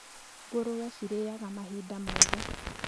Ngũrwe cirĩaga mahinda moothe